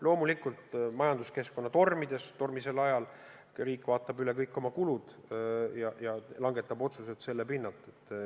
Loomulikult majanduskeskkonna tormisel ajal riik vaatab üle kõik oma kulud ja langetab otsused selle pinnal.